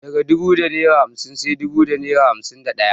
Daga dubu da naira hamsin sai dubu da naira hamsin da daya.